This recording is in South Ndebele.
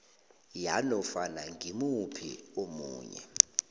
yanofana ngimuphi omunye